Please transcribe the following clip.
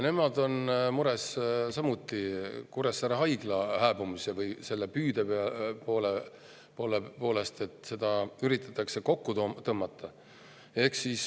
Nemad on mures Kuressaare Haigla hääbumise pärast või selle püüde pärast, et seda üritatakse kokku tõmmata.